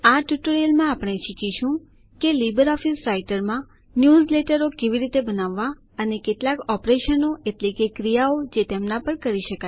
આ ટ્યુટોરિયલમાં આપણે શીખીશું કે લીબર ઓફીસ રાઈટરમાં ન્યૂઝલેટરો કેવી રીતે બનાવવા અને કેટલાક ઓપરેશન એટલે કે ક્રિયાઓ જે તેમના પર કરી શકાય